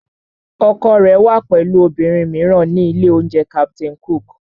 Ọkọ rẹ wà pẹ̀lú obìnrin mìíràn ní ilé-oúnjẹ Captain Cook